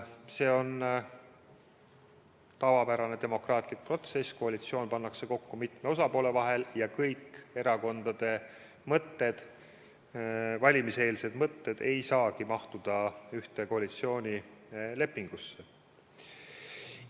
See on tavapärane demokraatlik protsess, koalitsioon pannakse kokku mitmest osapoolest ja kõik erakondade valimiseelsed mõtted ei saagi mahtuda ühte koalitsioonilepingusse.